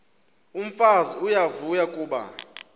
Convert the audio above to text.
umfazi uyavuya kuba